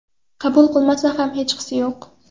Qabul qilinmasa ham hechqisi yo‘q.